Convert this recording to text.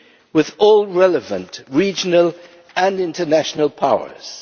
with all the relevant regional and international powers.